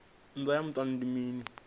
nndwa ya muṱani ndi mini